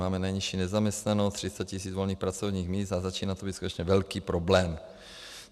Máme nejnižší nezaměstnanost, 30 tisíc volných pracovních míst a začíná to být skutečně velký problém.